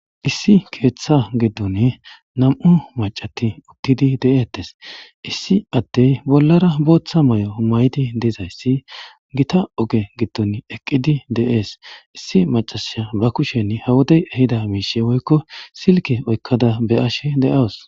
Issi keththa giddon nam''u maccatti uttidi deetees. issi ade bollara booththa mayo mayidi dizayssi gita oge gidon eqqidi de'ees. issi macassiya ba kusheni ha wode ehida woykko silkke oykkada beyashe de'aus.